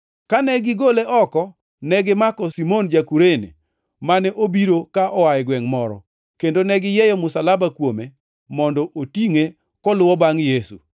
Kane gigole oko, negimako Simon ma ja-Kurene, mane obiro ka oa e gwengʼ moro, kendo negiyieyo msalaba kuome mondo otingʼe koluwo bangʼ Yesu.